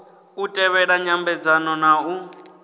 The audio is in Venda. u tevhela nyambedzano na u